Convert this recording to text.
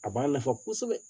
A b'a nafa kosɛbɛ